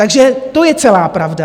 Takže to je celá pravda.